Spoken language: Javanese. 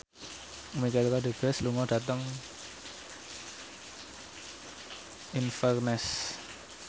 Michelle Rodriguez lunga dhateng Inverness